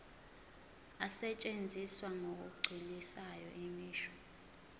asetshenziswa ngokugculisayo imisho